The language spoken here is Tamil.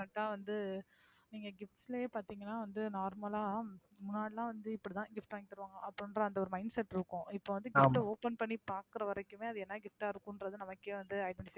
பாத்தா வந்து நீங்க gifts லயே பாத்தீங்கன்னா வந்து normal ஆ முன்னாடில்லாம் வந்து இப்படி தான் gift வாங்கி தருவாங்க அப்படின்ற அந்த ஒரு mindset இருக்கும். இப்போ gift அ open பண்ணி பாக்குறவரைக்குமே அது என்ன gift ஆ இருக்கும்ன்றத நமக்கே வந்து